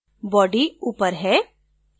body ऊपर है